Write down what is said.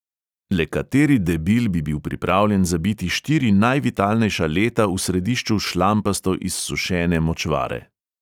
Le kateri debil bi bil pripravljen zabiti štiri najvitalnejša leta v središču šlampasto izsušene močvare.